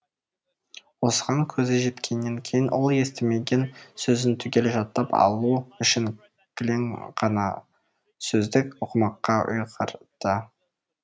осыған көзі жеткеннен кейін ол естімеген сөзін түгел жаттап алу үшін кілең ғана сөздік оқымаққа ұйғарды